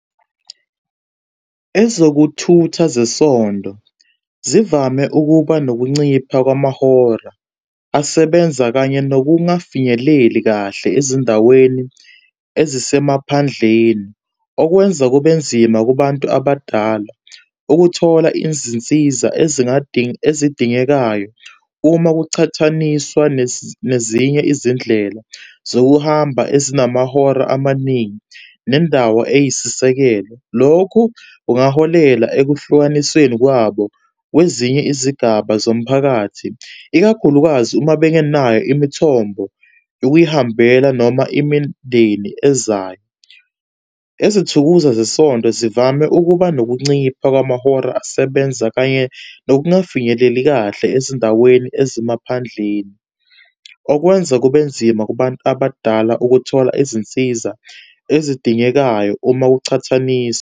Ezokuthutha zesonto zivame ukuba nokuncipha kwamahora asebenza kanye nokungafinyeleli kahle ezindaweni ezisemaphandleni. Okwenza kube nzima kubantu abadala ukuthola izinsiza ezidingekayo, uma kuqhathaniswa nezinye izindlela zokuhamba ezinamahora amaningi nendawo eyisisekelo. Lokhu kungaholela ekuhlukanisweni kwabo kwezinye izigaba zomphakathi, ikakhulukazi uma bengenayo imithombo yokuyihambela noma imindeni ezayo. Izithukuza zesonto zivame ukuba nokuncipha kwamahora asebenza kanye nokungafinyeleli kahle ezindaweni ezimaphandleni. Okwenza kubenzima kubantu abadala ukuthola izinsiza ezidingekayo, uma kuchathaniswa.